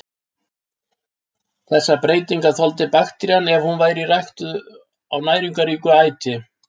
Þessar breytingar þoldi bakterían ef hún var ræktuð á næringarríku æti.